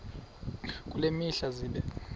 kule mihla zibe